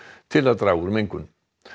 til að draga úr mengun